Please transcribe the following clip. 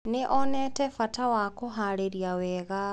Nĩ onete bata wa kũhaarĩria wega.